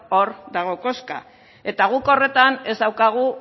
hor dago koska eta guk horretan ez daukagu